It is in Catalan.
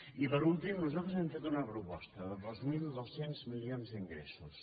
i per últim nosaltres hem fet una proposta de dos mil dos cents milions d’ingressos